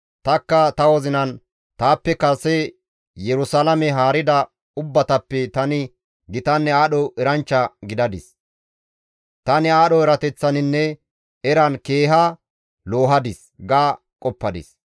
Tanikka ta wozinan, «Taappe kase Yerusalaame haarida ubbatappe tani gitanne aadho eranchcha gidadis; tani aadho erateththaninne eran keeha loohadis» ga qoppadis.